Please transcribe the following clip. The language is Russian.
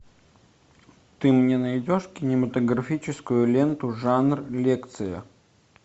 ты мне найдешь кинематографическую ленту жанр лекция